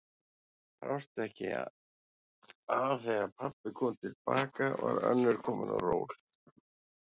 Brást ekki að þegar pabbi kom til baka var önnur komin á ról.